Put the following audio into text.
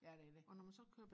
ja det er det